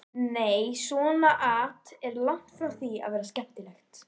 Nei, svona at er langt frá því að vera skemmtilegt.